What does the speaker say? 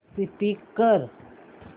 skip कर